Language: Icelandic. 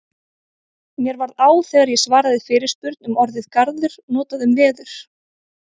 Mér varð á þegar ég svaraði fyrirspurn um orðið garður notað um veður.